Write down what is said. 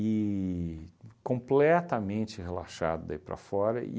e completamente relaxado daí para fora.